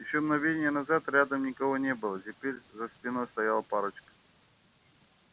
ещё мгновение назад рядом никого не было теперь за спиной стояла парочка